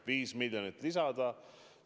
Viis miljonit lisada!